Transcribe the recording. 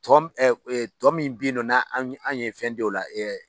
Tɔ tɔ min bɛ yen nɔ , n'a an ye fɛn di o la